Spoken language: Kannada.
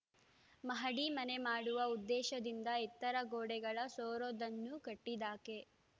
ಮಹಡಿ ಮನೆ ಮಾಡುವ ಉದ್ದೇಶದಿಂದ ಎತ್ತರ ಗೋಡೆಗಳ ಸೂರೊಂದನ್ನು ಕಟ್ಟಿದಾಕೆ